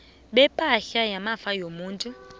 bepahla yamafa womuntu